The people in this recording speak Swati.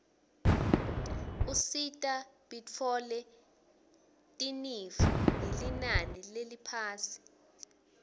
usita bitfole tinifo ngelinani leliphasi